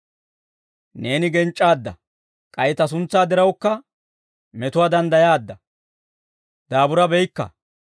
Neeni genc'c'aadda; k'ay ta suntsaa dirawukka metuwaa danddayaadda; daaburabeykka.